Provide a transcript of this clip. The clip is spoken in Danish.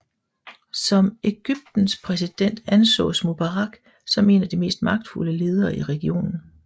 Som Egyptens præsident ansås Mubarak som en af de mest magtfulde ledere i regionen